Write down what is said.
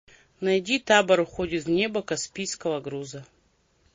найди табор уходит в небо каспийского груза